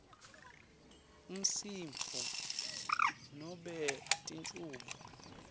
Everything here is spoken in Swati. umsindvo nobe tinchubo